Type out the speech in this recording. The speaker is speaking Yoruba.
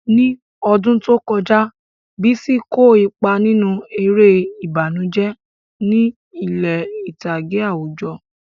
Ní ọdún tó kọjá, Bisi kó ipa nínú eré ìbànújẹ́ ní ilé ìtàgé àwùjọ.